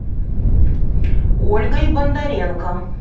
ольгой бондаренко